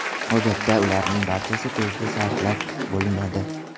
Odatda ularning barchasi tezda sarflab bo‘linadi.